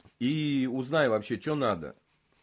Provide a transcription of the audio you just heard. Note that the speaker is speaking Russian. и узнай вообще что надо